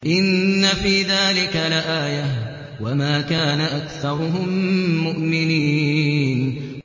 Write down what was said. إِنَّ فِي ذَٰلِكَ لَآيَةً ۖ وَمَا كَانَ أَكْثَرُهُم مُّؤْمِنِينَ